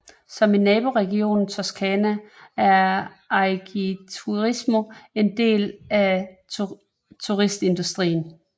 Som i naboregionen Toscana er Agriturismo en vigtig del af turistindustrien